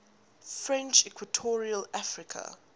french equatorial africa